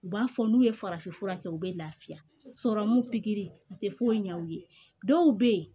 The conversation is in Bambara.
U b'a fɔ n'u ye farafin fura kɛ u bɛ lafiya sɔrɔ mun pikiri a te foyi ɲɛ u ye dɔw be yen